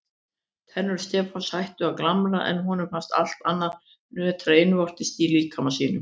Tennur Stefáns hættu að glamra en honum fannst allt annað nötra innvortis í líkama sínum.